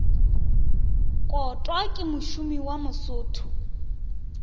kotwa ke mošomi wa mosotho